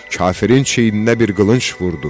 Kafirin çiyininə bir qılınc vurdu.